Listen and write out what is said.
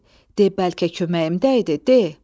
De, bəlkə köməyim dəydi, de!